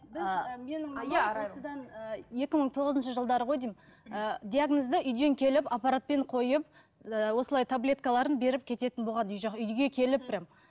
осыдан екі мың тоғызыншы жылдары ғой деймін ыыы диагнозды үйден келіп аппаратпен қойып ыыы осылай таблеткаларын беріп кететін болған үй жақ үйге келіп